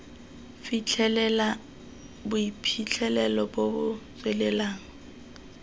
fitlhelela boiphitlhelelo bo bo tswelelang